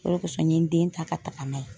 o de kosɔn n ye n den ta ka taga n'a ye.